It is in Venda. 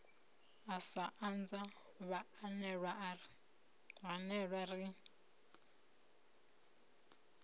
u sa anza vhaanewa ri